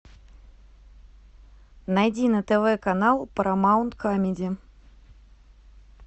найди на тв канал парамаунт камеди